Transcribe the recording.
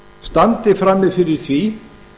standi frammi fyrir því